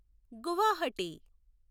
Guwahati